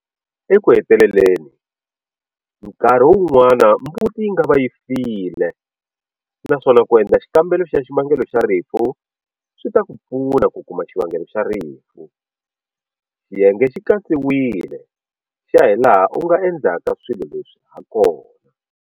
Eku heteleleni, nkarhi wun'wana mbuti yi nga va yi file naswona ku endla xikambelo xa xivangelo xa rifu swi ta ku pfuna ku kuma xivangelo xa rifu, xiyenge xi katsiwile xa hilaha u nga endla swilo leri ha kona.